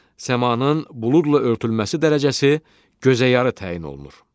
Səmanın buludla örtülməsi dərəcəsi gözəyarı təyin olunur.